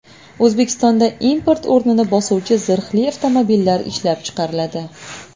O‘zbekistonda import o‘rnini bosuvchi zirhli avtomobillar ishlab chiqariladi.